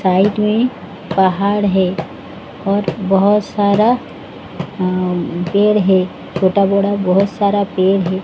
Side में पहाड़ है और बहुत सारा अ पेड़ है छोटा-बोड़ा बहुत सारा पेड़ है।